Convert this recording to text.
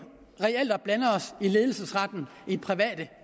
og blander os i ledelsesretten i private